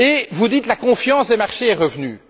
Vous dites que la confiance des marchés est revenue.